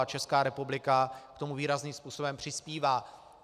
A Česká republika k tomu výrazným způsobem přispívá.